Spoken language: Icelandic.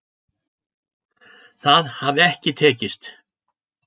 Það hafi ekki tekist